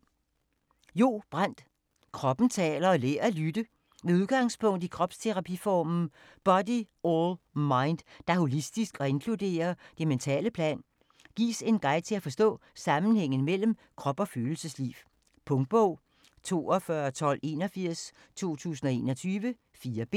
Brand, Jo: Kroppen taler: lær at lytte Med udgangspunkt i kropsterapiformen Body All Mind, der er holistisk og inkluderer det mentale plan, gives en guide til at forstå sammenhængen mellem krop og følelsesliv. Punktbog 421281 2021. 4 bind.